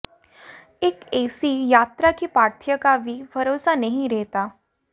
एक ऐसी यात्रा कि पाथेय का भी भरोसा नहीं रहता